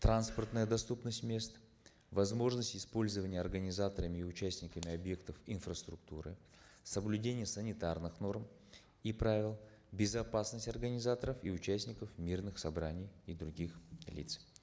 транспортная доступность мест возможность использования организаторами и участниками объектов инфраструктуры соблюдение санитарных норм и правил безопасность организаторов и участников мирных собраний и других лиц